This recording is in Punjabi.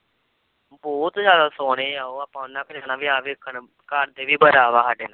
ਬਹੁਤ ਜ਼ਿਆਦਾ ਸੋਹਣੇ ਆਂ ਉਹ ਆਪਾਂ ਵਿਆਹ ਵੇਖਣ ਕਰਦੇ ਵੀ ਬੜਾ ਵਾ ਸਾਡੇ ਨਾਲ।